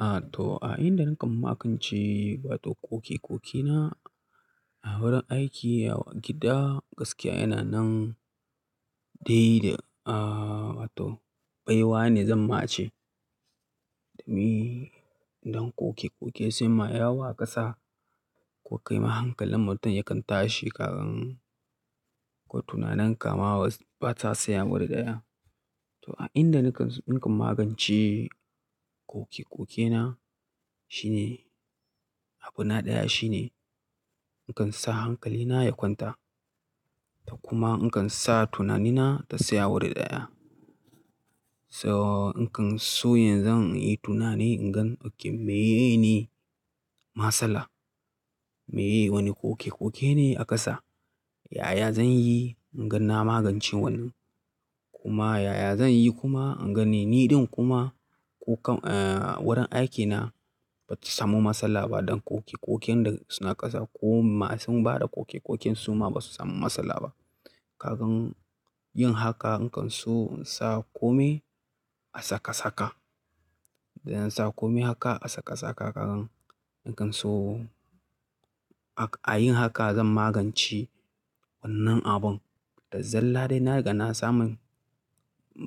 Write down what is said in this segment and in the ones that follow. Ah, to a inda nakan magance wato ƙoƙe-ƙoƙe na a wurin aiki yawa gida gaskiya yana nan dai da, ah wato baiwa ne zan ma ce. Domin dan ƙoƙe-ƙoƙe sai ma yawa ƙasa ko kai mahankalin mutum yakan tashi kagan ko tunanin ka ma bata saya wuri daya. To a inda nakan, nakan magance ƙoƙe-ƙoƙe na shine abu na ɗaya shine nakan sa hankali na ya kwanta. Ta kuma nakan sa tunani na ta saya wuri daya. So nakan so yanzu an yi tunani ingan ok meye ne matsala. Meye wani ƙoƙe-ƙoƙe ne a ƙasa. Yaya zan yi inga na magance wannan. Kuma yaya zan yi kuma inga ni ɗin kuma ko kan-- eh wurin aikina bata samu matsala ba don ƙoƙe-ƙoƙen da suna ƙasa ko masu bada ƙoƙe-ƙoƙen su ma basu samu matsala ba. Kagan yin haka nakan so sa kome a saka-saka. Da na sa kome haka a saka-saka kagan nakan so a, a yin haka zan magance wannan abun. Da zalla dai na riga na samun,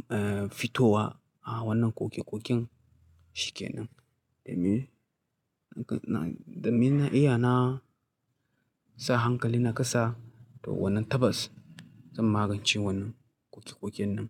eh fitowa a wannan ƙoƙe-ƙoƙen shikenan. Domin nakan na, domin na iya na sa hankali na ƙasa to wannan tabas zan magance wannan ƙoƙe-ƙoƙen nan.